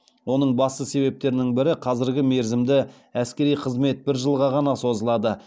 оның басты себептерінің бірі қазіргі мерзімді әскери қызмет бір жылға ғана созылады